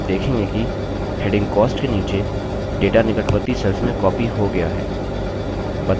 आप देखेंगे कि heading cost के नीचे data निकटवर्ती cells में copied हो गया है